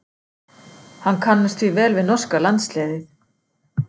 Hann kannast því vel við norska landsliðið.